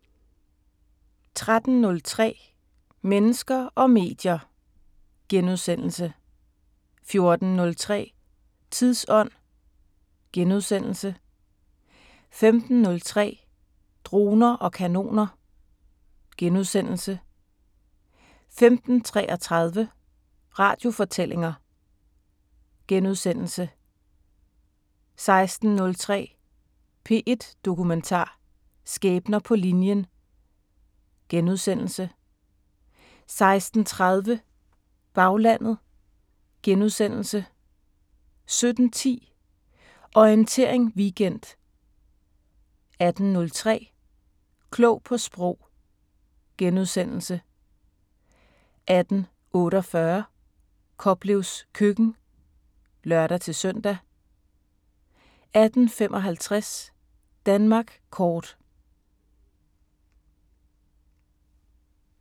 13:03: Mennesker og medier * 14:03: Tidsånd * 15:03: Droner og kanoner * 15:33: Radiofortællinger * 16:03: P1 Dokumentar: Skæbner på linjen * 16:30: Baglandet * 17:10: Orientering Weekend 18:03: Klog på Sprog * 18:48: Koplevs køkken (lør-søn) 18:55: Danmark Kort